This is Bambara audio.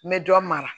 N bɛ dɔ mara